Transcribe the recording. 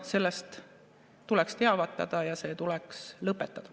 Sellest tuleks teavitada ja see tuleks lõpetada.